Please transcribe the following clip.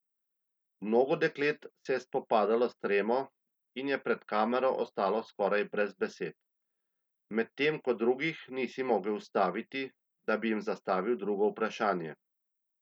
Mnogo deklet se je spopadalo s tremo in je pred kamero ostalo skoraj brez besed, medtem ko drugih nisi mogel ustaviti, da bi jim zastavil drugo vprašanje.